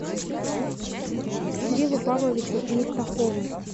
кириллу павловичу мифтахову